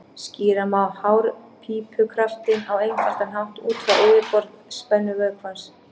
Skýra má hárpípukraftinn á einfaldan hátt út frá yfirborðsspennu vökvans.